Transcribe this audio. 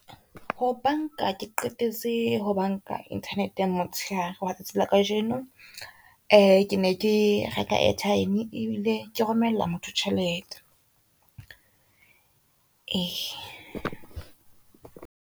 Ho banka ke qetetse ho banka internet-eng motshehare wa tsatsi la kajeno, ke ne ke reka airtime ebile ke romella motho tjhelete .